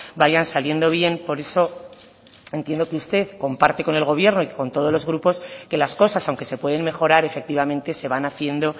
vayan saliendo bien por eso entiendo que usted comparte con el gobierno y con todos los grupos que las cosas aunque se pueden mejorar efectivamente se van haciendo